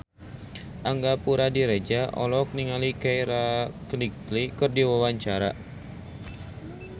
Angga Puradiredja olohok ningali Keira Knightley keur diwawancara